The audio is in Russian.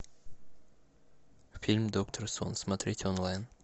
фильм доктор сон смотреть онлайн